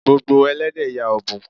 Gbogbo Ẹlẹ́dẹ̀ ya ọ́bùn.